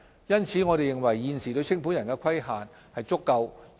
因此，我們認為現時對清盤人的規管是足夠的。